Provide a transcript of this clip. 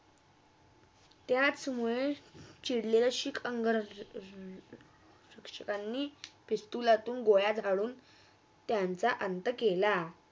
त्याचमुळे चिडळाशीक इंग्रजन्नी, पिस्तुलातून गोळ्या काडून त्यांचा अंत केला